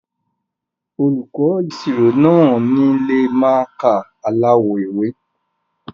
Olùkọ́ ẹ̀kọ́ ìṣirò náà ò ní lo mákà aláwọ̀ ewé.